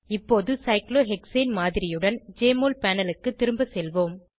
இப்போது சைக்ளோஹெக்சேன் மாதிரியுடன் Jmol panel க்கு திரும்ப செல்வோம்